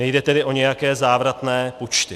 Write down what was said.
Nejde tedy o nějaké závratné počty.